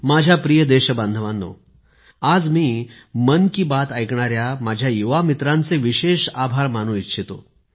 माझ्या प्रिय देशबांधवांनो आज मी मन की बात ऐकणाऱ्या माझ्या युवा मित्रांचे विशेष आभार मानू इच्छितो